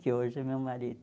Que hoje é meu marido.